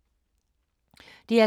DR K